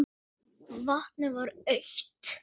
Vatnið var autt.